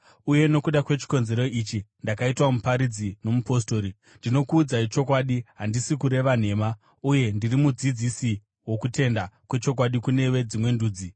Uye nokuda kwechikonzero ichi ndakaitwa muparidzi nomupostori, ndinokuudzai chokwadi, handisi kureva nhema, uye ndiri mudzidzisi wokutenda kwechokwadi kune veDzimwe Ndudzi.